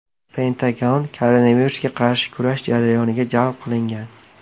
Pentagon koronavirusga qarshi kurash jarayoniga jalb qilingan .